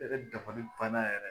Ne yɛrɛ dabali banna yɛrɛ.